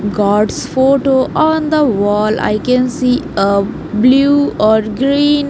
God's photo on the wall i can see a blue or green.